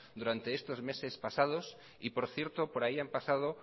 durante estos meses pasados y por cierto por ahí han pasado